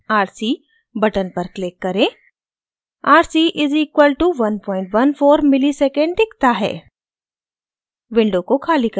calculate rc button पर click करें rc = 114 msec दिखता है